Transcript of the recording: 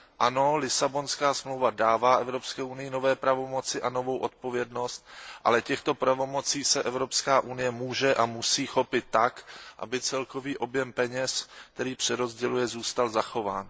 Ano, Lisabonská smlouva dává Evropské unii nové pravomoci a novou odpovědnost, ale těchto pravomocí se Evropská unie může a musí chopit tak, aby celkový objem peněz, který přerozděluje, zůstal zachován.